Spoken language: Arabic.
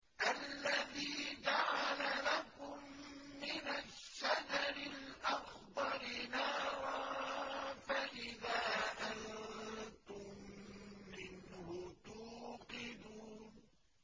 الَّذِي جَعَلَ لَكُم مِّنَ الشَّجَرِ الْأَخْضَرِ نَارًا فَإِذَا أَنتُم مِّنْهُ تُوقِدُونَ